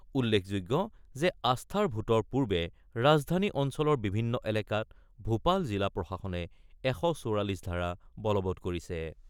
উল্লেখযোগ্য যে আস্থাৰ ভোটৰ পূৰ্বে ৰাজধানী অঞ্চলৰ বিভিন্ন এলেকাত ভূপাল জিলা প্ৰশাসনে ১৪৪ ধাৰা বলবৎ কৰিছে।